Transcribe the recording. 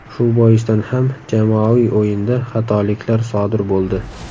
Shu boisdan ham jamoaviy o‘yinda xatoliklar sodir bo‘ldi.